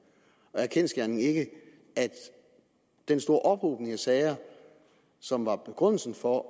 er er kendsgerningen ikke at den store ophobning af sager som var begrundelsen for